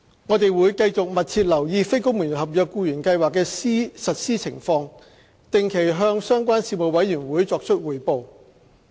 我們會繼續密切留意非公務員合約僱員計劃的實施情況，定期向相關事務委員會作出匯報。